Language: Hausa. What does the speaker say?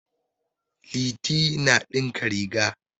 Liti na ɗinka riga.